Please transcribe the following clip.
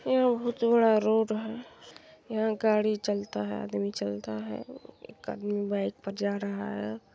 यहां भी चौड़ा रोड़ है। यहां गाड़ी चलता है आदमी चलता है। एक आदमी बाइक पर जा रहा है।